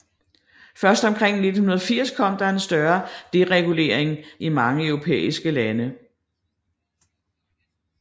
Først omkring 1980 kom der en større deregulering i mange europæiske lande